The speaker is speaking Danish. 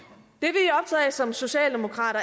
som socialdemokrater